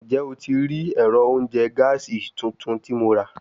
Njẹ o ti rii ẹrọ ounjẹ gaasi tuntun ti Mo ra?